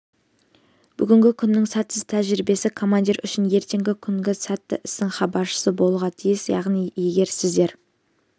бүгінгі күннің сәтсіз тәжірибесі командир үшін ертеңгі күнгі сәтті істің хабаршысы болуға тиіс яғни егер сіздер